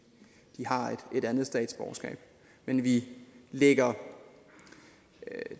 har et andet statsborgerskab men vi lægger